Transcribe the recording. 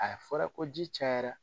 A fɔra ko ji cayara